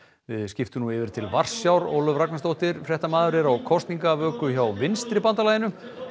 við skiptum nú yfir til Varsjár Ólöf Ragnarsdóttir fréttamaður er á kosningavöku hjá vinstra bandalaginu